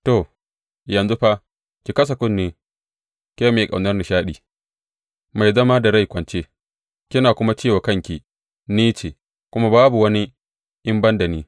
To, yanzu fa, ki kasa kunne, ke mai ƙaunar nishaɗi, mai zama da rai kwance kina kuma ce wa kanki, Ni ce, kuma babu wani in ban da ni.